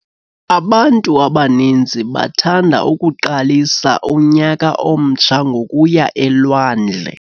Abantu abaninzi bathanda ukuqalisa unyaka omtsha ngokuya elwandle.